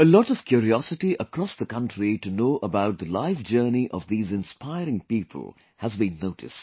A lot of curiosity across the country to know about the life journey of these inspiring people has been noticed